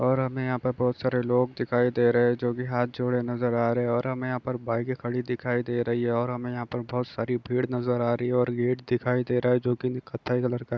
और अब मैं यहाँ पर बहुत सारे लोग दिखाई दे रहे हैं जो भी हाथ जोड़े नजर आ रहे हैं और हमें यहाँ पर बाइकें खड़ी दिखाई दे रही है और हमें यहाँ पर बहुत सारी भीड़ नजर आ रही है और गेट दिखाई दे रहा है जो कि कत्थई कलर का--